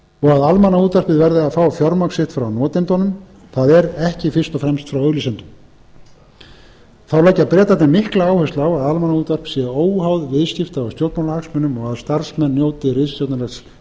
að almannaútvarpið verði að fá fjármagn sitt frá notendunum það er ekki fyrst og fremst frá auglýsendum þá leggja bretarnir mikla áherslu á að almannaútvarp sé óháð viðskipta og stjórnmálahagsmunum og að starfsmenn njóti ritstjórnarlegs